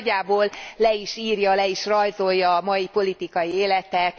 Ez nagyjából le is írja, le is rajzolja a mai politikai életet.